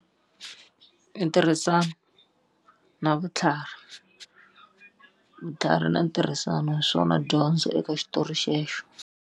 I ntirhisano na vutlhari. Vutlhari na ntirhisano hi swona dyondzo eka xitori xexo.